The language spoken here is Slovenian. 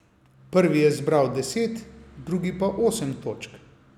Prvi je zbral deset, drugi pa osem točk.